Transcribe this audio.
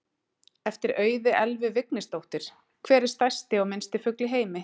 Eftir Auði Elvu Vignisdóttur: Hver er stærsti og minnsti fugl í heimi?